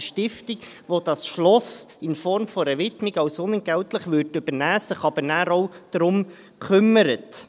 Eine Stiftung, welche dieses Schloss in Form einer Widmung unentgeltlich übernehmen würde, sich dann aber auch darum kümmert.